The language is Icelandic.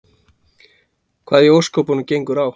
Hvað í ósköpunum gengur á?